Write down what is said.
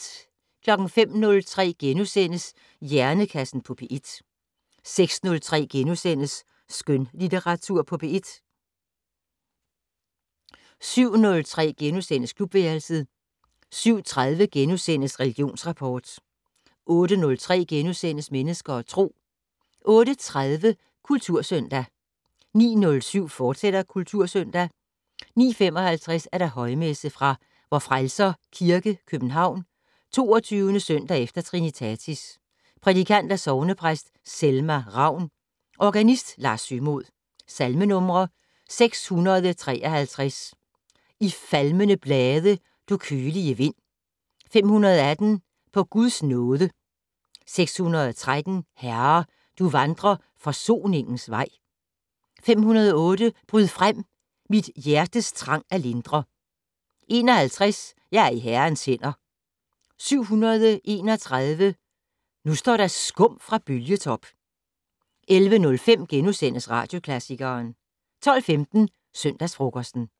05:03: Hjernekassen på P1 * 06:03: Skønlitteratur på P1 * 07:03: Klubværelset * 07:30: Religionsrapport * 08:03: Mennesker og Tro * 08:30: Kultursøndag 09:07: Kultursøndag, fortsat 09:55: Højmesse - fra Vor Frelser Kirke, København. 22. søndag efter trinitatis Prædikant: Sognepræst Selma Ravn. Organist: Lars Sømod. Salmenumre: 653: "I falmende blade, du kølige vind". 518: "På Guds nåde". 613: "Herre, du vandrer forsoningens vej". 508: "Bryd frem, mit hjertes trang at lindre". 51: "Jeg er i Herrens hænder". 731: "Nu står der skum fra bølgetop". 11:05: Radioklassikeren * 12:15: Søndagsfrokosten